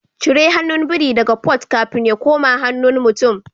Cire hannun biri daga Port kafin ya koma hannun mutum